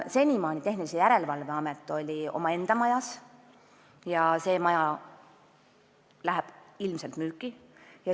Senimaani oli Tehnilise Järelevalve Amet omaenda majas ja see maja läheb ilmselt müüki.